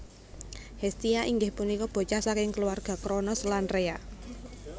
Hestia inggih punika bocah saking keluarga Kronos lan Rhea